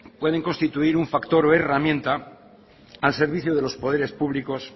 pueden constituir un factor o herramienta al servicio de los poderes públicos